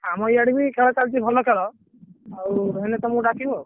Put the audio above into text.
ଆମର ଇଆଡେ ବି ଖେଳ ଚାଲିଛି ଭଲ ଖେଳ ଆଉ ହେଲେ ତମକୁ ଡାକିବୁ ଆଉ।